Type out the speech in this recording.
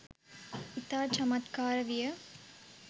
ඉතා චමත්කාර විය